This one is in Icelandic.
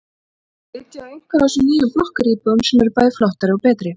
Þau vilja flytja í einhverja af þessum nýju blokkaríbúðum sem eru bæði flottari og betri.